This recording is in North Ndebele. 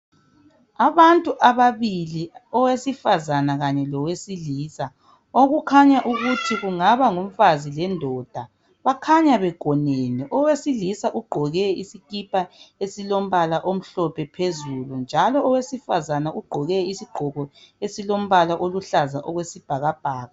Abantu ababili owesifazana kanye lowesilisa. Okukhanya ukuthi kungaba ngumfazi lendoda bakhanya begonene. Owesilisa ugqoke isikipa esilombala omhlophe phezulu. Owesifazana ugqoke isigqoko esilobala oluhlaza okwesibhakabhaka.